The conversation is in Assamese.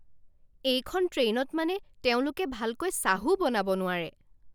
এইখন ট্ৰেইনত মানে তেওঁলোকে ভালকৈ চাহো বনাব নোৱাৰে!